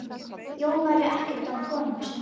Jón væri ekkert án konu sinnar